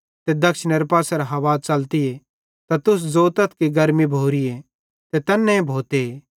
ते दक्षिणेरे पासेरां हवा च़ली त तुस ज़ोतथ गर्मी भोरीए ते तैन्ने भोते